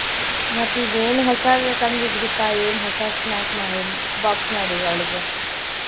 ಮತ್ತೀಗ್ ಏನ್ ಹೊಸಾವು ಕಂಡ್ ಹಿಡಿದಿ ಪಾ ಏನ್ ಹೊಸ snack box ಮಾಡಿ ಅವ್ಳಿಗೆ.